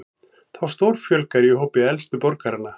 Þá stórfjölgar í hópi elstu borgaranna